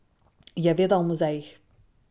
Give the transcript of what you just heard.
Je veda o muzejih.